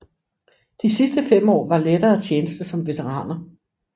De sidste fem år var lettere tjeneste som veteraner